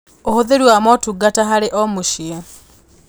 Ũhũthĩri wa motungata harĩ o-mũciĩ